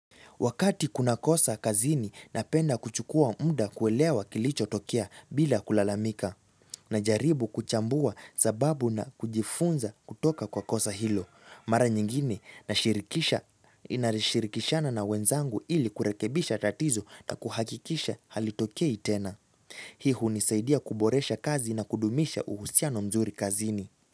Wakati kuna kosa kazini na penda kuchukua muda kuelewa kilicho tokea bila kulalamika na jaribu kuchambua sababu na kujifunza kutoka kwa kosa hilo. Mara nyingine na inarishirikishana na wenzangu ili kurekebisha tatizo na kuhakikisha halitokei tena. Hii hunisaidia kuboresha kazi na kudumisha uhusiano mzuri kazini.